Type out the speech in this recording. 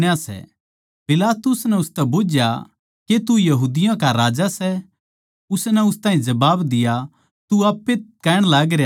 पिलातुस नै उसतै बुझ्झया के तू यहूदिया का राजा सै उसनै उस ताहीं जबाब दिया तू आप ए कहण लागरया सै